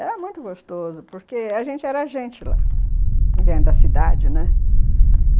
Era muito gostoso, porque a gente era gente lá, dentro da cidade, né, uhum.